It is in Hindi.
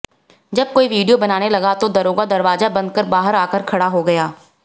जब कोई विडियो बनाने लगा तो दरोगा दरवाजा बंद कर बाहर आकर खड़ा हो गया